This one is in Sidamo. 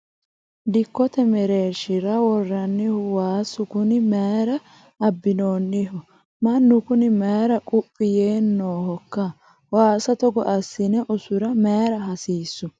dikkote mereershira worroonnihu waasu kuni mayiira abbinoonniho? mannu kuni mayiira quphi yee noohokka? waasa togo assine usura mayiira hasiissu ?